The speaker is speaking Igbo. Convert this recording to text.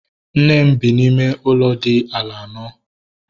Nne m bi n'ime ụlọ dị ala anọ